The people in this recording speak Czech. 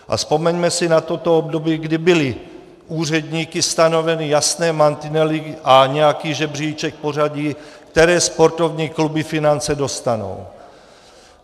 A vzpomeňme si na toto období, kdy byli úředníky stanoveny jasné mantinely a nějaký žebříček pořadí, které sportovní kluby finance dostanou.